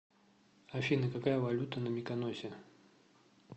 афина какая валюта на миконосе